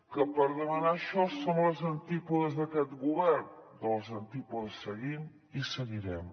que per demanar això som a les antípodes d’aquest govern a les antípodes seguim i seguirem